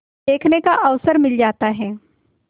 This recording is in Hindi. देखने का अवसर मिल जाता है